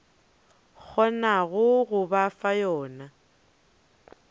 kgonago go ba fa yona